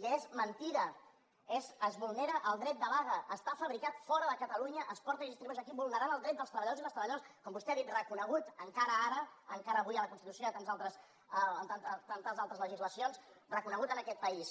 i és mentida es vulnera el dret de vaga està fabricat fora de catalunya es porta i es distribueix aquí vulnerant el dret dels treballadors i les treballadores com vostè ha dit reconegut encara ara encara avui a la constitució i a tantes altres legislacions reconegut en aquest país